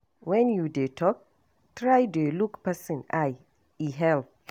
When you dey talk, try dey look person eye, e help.